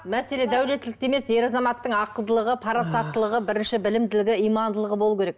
мәселе дәулеттілікте емес ер азаматтың ақылдылығы парасаттылығы бірінші білімділігі имандылығы болуы керек